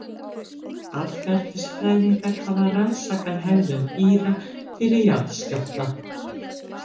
Atferlisfræðingar hafa rannsakað hegðun dýra fyrir jarðskjálfta.